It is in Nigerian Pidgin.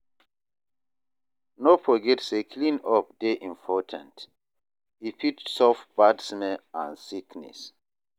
No forget say clean-up dey important; e fit stop bad smell and sickness.